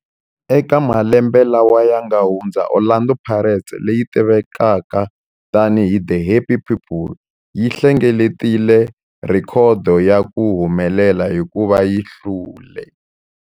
Eka malembe lawa yanga hundza, Orlando Pirates, leyi tivekaka tani hi 'The Happy People', yi hlengeletile rhekhodo ya ku humelela hikuva yi hlule.